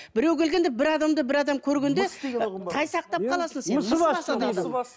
біреу келгенде бір адамды бір адам көргенде тайсақтап қаласың сен